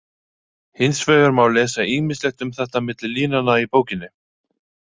Hins vegar má lesa ýmislegt um þetta milli línanna í bókinni.